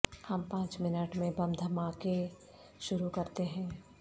ہم پانچ منٹ میں بم دھماکے شروع کرتے ہیں